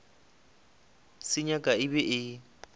se nyaka e be e